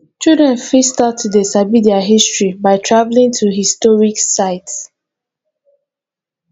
children fit start to dey sabi their history by travelling to historic site